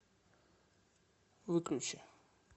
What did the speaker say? выключи